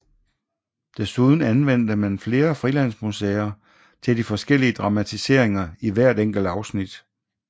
Derudover anvendte man flere frilandsmuseer til de forskellige dramatiseringer i hvert enkelt afsnit